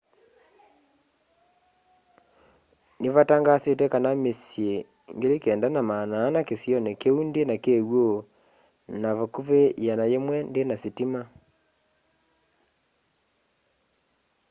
nĩvatangaasĩtwe kana mĩsyĩ 9400 kĩsĩonĩ kĩũ ndĩna kĩw'ũ na vakũvĩ 100 ndĩna sĩtĩma